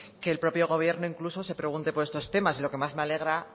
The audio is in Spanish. que el propio gobierno incluso se pregunte por estos temas y lo que más me alegra